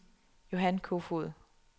Johan Kofoed